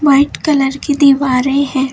White colour की दीवारें है।